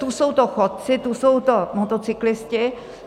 Tu jsou to chodci, tu jsou to motocyklisté.